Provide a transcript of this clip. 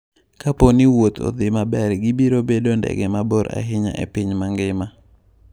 Kapo ni wuoth odhi maber, gibiro bedo ndege mabor ahinya e piny mangima.